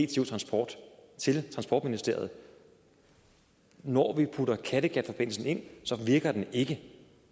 dtu transport til transportministeriet når vi putter kattegatforbindelsen ind så virker den ikke